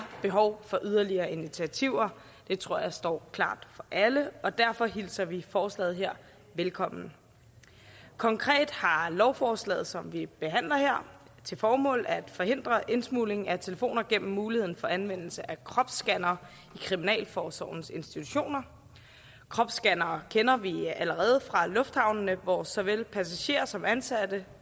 behov for yderligere initiativer det tror jeg står klart for alle og derfor hilser vi forslaget her velkommen konkret har lovforslaget som vi behandler her til formål at forhindre indsmugling af telefoner gennem muligheden for anvendelse af kropsscannere i kriminalforsorgens institutioner kropsscannere kender vi allerede fra lufthavnene hvor såvel passagerer som ansatte